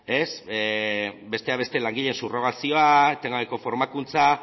besteak beste langileen subrrogazioa etengabeko formakuntza